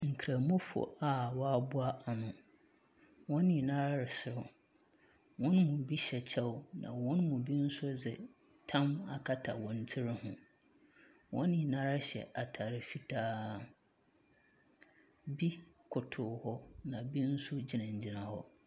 Nkramofo a wɔaboa ano, wɔn nyinaa reserew, wɔn mu bi hyɛ kyɛw na wɔn mu bi dze tam akata wɔn tsir ho. Wɔn nyinara hyɛ ataare fitaa, bi koto hɔ na bi nso gyinagyina hɔ.